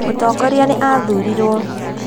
Mũtongoria nĩ athurirũo